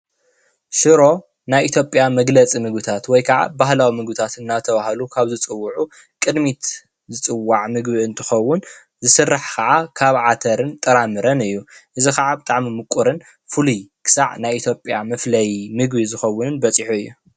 ሽሮ ናይ ኢ/ያ መግለፂ ምግብታት ወይ ክዓ ባህላዊ ምግብታት እናተብሃሉ ካብ ዝፅውዑ ቅድሚት ዝፅዋዕ ምግቢ እንትኸውን ዝስራሕ ክዓ ካብ ዓተርን ጥራ ምረን እዩ:: እዚ ክዓ ብጣዕሚ ምቁርን ፍሉይ ክሳብ ናይ ኢ/ያ መፍለይ ምግቢ ዝኸውንን በፅሑ እዩ፡፡